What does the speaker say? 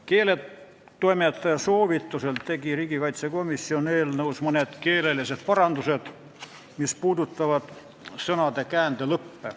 Keeletoimetaja soovitusel tegi komisjon eelnõus mõned parandused, mis puudutavad sõnade käändelõppe.